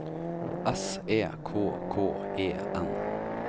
S E K K E N